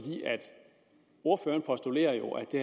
ordføreren postulerer jo at det